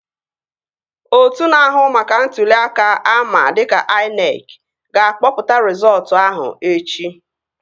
Otu na-ahụ maka ntụli aka ama dịka INEC ga-akpọpụta rizọọtu ahụ echi